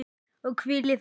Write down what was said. Og hvíl í friði.